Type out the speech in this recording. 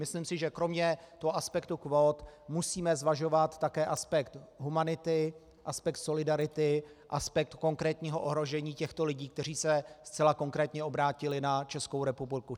Myslím si, že kromě toho aspektu kvót musíme zvažovat také aspekt humanity, aspekt solidarity, aspekt konkrétního ohrožení těchto lidí, kteří se zcela konkrétně obrátili na Českou republiku.